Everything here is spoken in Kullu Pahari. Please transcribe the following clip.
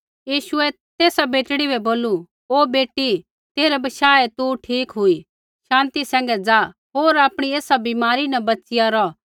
यीशुऐ तेसा बेटड़ी बै बोलू ओ बेटी तेरै बशाहै तू ठीक हुई शान्ति सैंघै ज़ा होर आपणी एसा बीमारी न बच़िया रौह